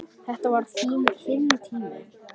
Þetta var þinn tími.